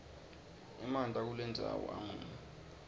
emanti akulendzawo amunyu